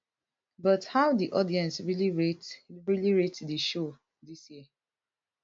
but how di audience really rate really rate di show dis year